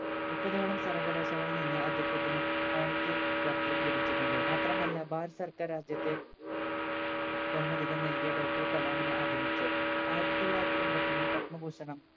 മുപ്പതോളം സർവകലാശാലകളിൽ നിന്ന് അദ്ദേഹത്തിന് ownity doctorate ലഭിച്ചിട്ടുണ്ട് മാത്രമല്ല ഭാരത സർക്കാർ ആദ്യത്തെ ബഹുമതികൾ നൽകി Doctor കലാമിനെ ആദരിച്ചു ആയിരത്തി തൊള്ളായിരത്തി എമ്പതൊന്നിൽ പത്മഭൂഷണം